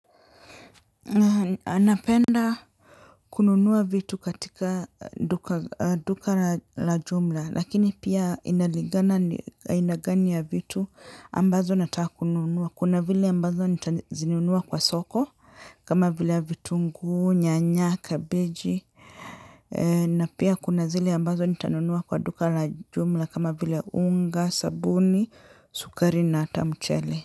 Napenda kununua vitu katika duka la jumla lakini pia inaligana ni aina vitu ambazo nataka kununua kuna zile ambazo nitazinunua kwa soko. Kama vile vitungu, nyanya, kabeji na pia kuna zile ambazo nitanunua kwa duka la jumla kama vile ya unga, sabuni, sukari na hata mcheli.